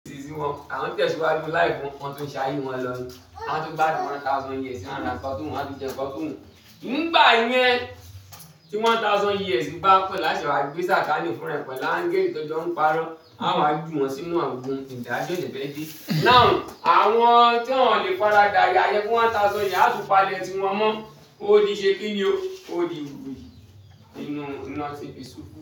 Ni sí wọn, àwọn ń tẹ̀síwájú life wọn, wọn ti ń ṣayé wọn lọ ni. Wọn tin gbadun one thousand years, wọ́n á ràn kọ́ tó wọn, wọ́n á tún jẹ kọ́ tó wọn. Nígbà yẹn, tí one thousand years bá pè láṣẹ wà. Gbé satan ni fún rẹ̀ pẹ̀lú angẹli tó jọ ń parọ́, á wá ju wọn sínú agbọn ìdájọ́ dẹ́gbẹ́dẹ́. Àwọn tí wọ́n le fa ra da iyá yẹn fun one thousand years á tú palẹ ti wọn mọ, ó di ṣe kí ni o? Ó di wii, inú iná ti ìṣú fún.